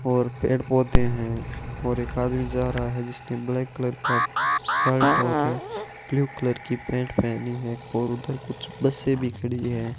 और पेड़ पौधे हैं और एक आदमी जा रहा है जिसने ब्लैक कलर का शर्ट और ब्लू कलर की पैंट पहनी है और उधर कुछ बसें भी खड़ी है।